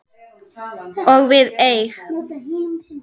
Og við eig